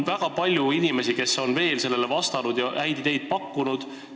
Väga palju inimesi on sellele vastanud ja veel häid ideid pakkunud.